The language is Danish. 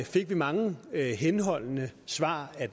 fik mange henholdende svar